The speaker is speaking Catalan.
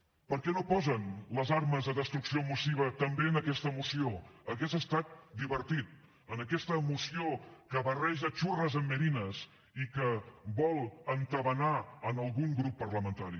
per què no posen les armes de destrucció massiva també en aquesta moció hauria estat divertit en aquesta moció que barreja xurres amb merines i que vol entabanar algun grup parlamentari